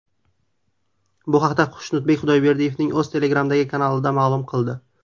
Bu haqda Xushnudbek Xudoyberdiyevning o‘zi Telegram’dagi kanalida ma’lum qildi.